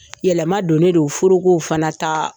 Yɛlɛma donnen de furukow fana ta